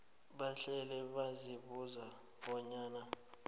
bahlale bazibuza bonyana